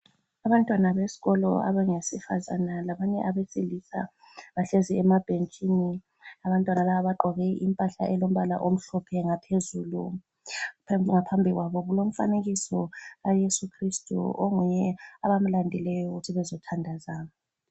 Abantwana besikolo abangesifazane labanye abesilisa bahlezi emabhentshini. Abantwana laba bagqoke impahla elombala omhlophe ngaphezulu. Abantwana laba ngaphambi kwabo kulomfanekiso kaYesu khristu onguye abamlandileyo ukuthi bezothandaza.